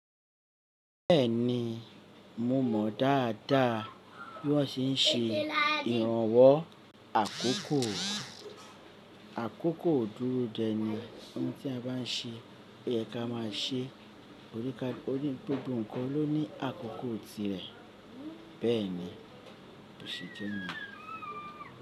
Bẹ́ẹ̀ni, mo mọ̀ dáadáa bí wọ́n ṣe ń ṣe ìrànwọ́ àkókò. Àkókò o dúró dẹ ní ohun tí a bá ń ṣe, ó yẹ ka má a ṣe. Onikalu oni gbogbo nǹkan ló ní àkókò tirẹ̀. Bẹ́ẹ̀ni, òṣìṣẹ́ ni.